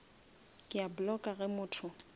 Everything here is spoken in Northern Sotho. ke a blocka ge motho